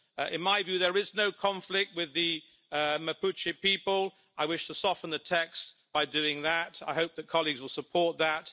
In my view, there is no conflict with the Mapuche people. I wish to soften the text by doing that. I hope that colleagues will support that.